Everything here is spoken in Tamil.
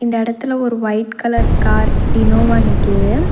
இந்த எடத்துல ஒரு ஒயிட் கலர் கார் இனோவா நிக்கிது.